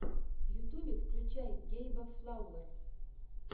в ютюбе включай гейба флауэр